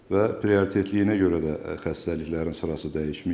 Və prioritetliyinə görə də xəstəliklərin sırası dəyişməyib.